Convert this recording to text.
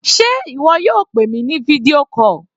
Sé ìwọ yóò pè mi ní fídíò call?